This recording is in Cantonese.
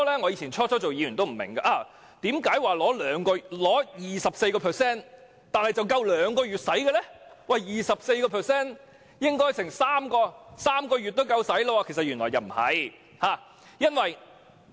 我剛出任議員時也不明白，為何取 24% 的撥款只足夠兩個月的開支，理應足夠3個月使用，但原來事實並非如此。